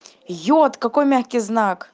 йод какой мягкий знак